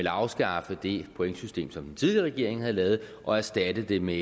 afskaffe det pointsystem som den tidligere regering havde lavet og erstatte det med